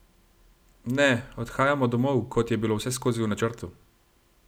Ne, odhajamo domov, kot je bilo vseskozi v načrtu.